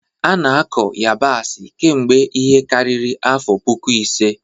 A na-akọ yabasị kemgbe ihe karịrị afọ puku ise.